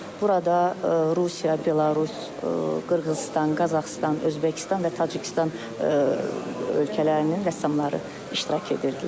Burada Rusiya, Belarus, Qırğızıstan, Qazaxıstan, Özbəkistan və Tacikistan ölkələrinin rəssamları iştirak edirdilər.